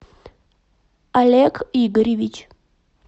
олег игоревич